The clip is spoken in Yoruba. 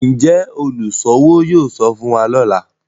Njé oluṣowo yóò sọfún wá lọla?